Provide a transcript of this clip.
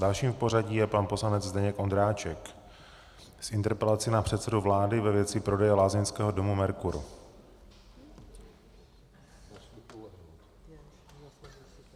Dalším v pořadí je pan poslanec Zdeněk Ondráček s interpelací na předsedu vlády ve věci prodeje lázeňského domu Mercur.